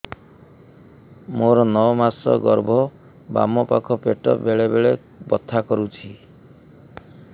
ମୋର ନଅ ମାସ ଗର୍ଭ ବାମ ପାଖ ପେଟ ବେଳେ ବେଳେ ବଥା କରୁଛି